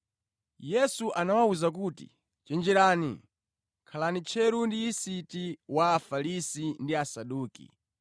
Yesu anawawuza kuti, “Chenjerani, khalani tcheru ndi yisiti wa Afarisi ndi Asaduki.”